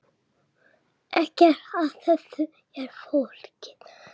Ekkert af þessu er flókið